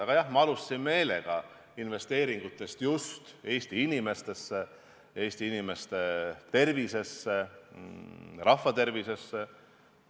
Aga jah, ma alustasin meelega investeeringutest just Eesti inimestesse, Eesti inimeste tervisesse, rahvatervisessse.